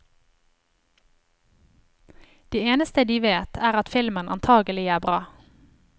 Det eneste de vet, er at filmen antagelig er bra.